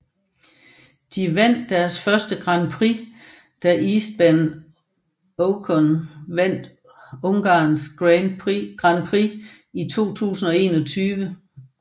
De vandt deres først grand prix da Esteban Ocon vandt Ungarns Grand Prix 2021